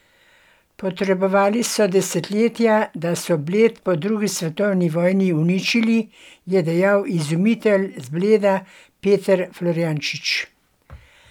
Potrebovali so desetletja, da so Bled po drugi svetovni vojni uničili, je dejal izumitelj z Bleda Peter Florjančič.